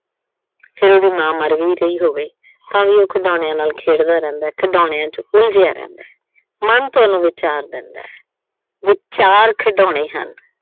ਫਿਰ ਉਹਦੀ ਮਾਂ ਮਰ ਵੀ ਰਹੀ ਹੋਵੇ, ਤਾਂ ਵੀ ਉਹ ਖਿਡੌਣਿਆਂ ਨਾਲ ਖੇਡਦਾ ਰਹਿੰਦਾ। ਖਿਡੌਣਿਆਂ ਚ ਉਲਝਿਆ ਰਹਿੰਦਾ। ਮਨ ਤੁਹਾਨੂੰ ਵਿਚਾਰ ਦਿੰਦਾ, ਵਿਚਾਰ ਖਿਡੌਣੇ ਹਨ।